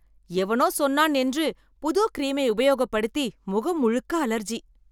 எவனோ சொன்னான் என்று புது கிரீம்யை உபாயகப்படுத்தி முகம் முழுக்க அலர்ஜி.